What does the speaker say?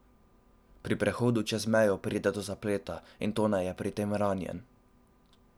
Pri prehodu čez mejo pride do zapleta in Tone je pri tem ranjen.